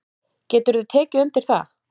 Geturðu tekið undir það?